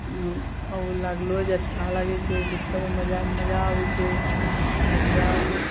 अउ ओ लागलो जे अच्छा लागे छै लिफ्टों मे जाय म मजा आवे छे एकदम ।